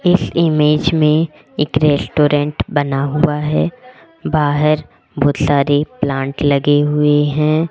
इस इमेज में एक रेस्टोरेंट बना हुआ है बाहर बहोत सारे प्लांट लगे हुए हैं।